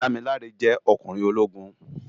Damilare jè okúnrin ólógún